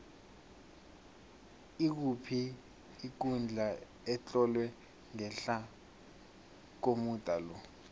ikuphi ikundla etlolwe ngehla komuda lo